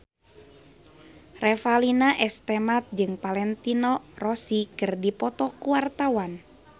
Revalina S. Temat jeung Valentino Rossi keur dipoto ku wartawan